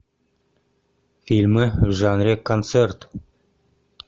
фильмы в жанре концерт